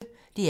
DR P1